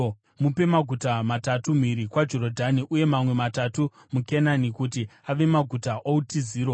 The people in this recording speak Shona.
Mupe maguta matatu mhiri kwaJorodhani uye mamwe matatu muKenani kuti ave maguta outiziro.